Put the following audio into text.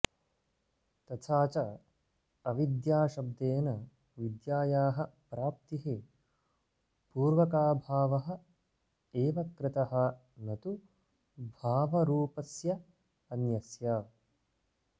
तथाच अविद्याशब्देन विद्यायाः प्राप्ति पूर्वकाभावः एव कृतः न तु भावरूपस्यान्यस्य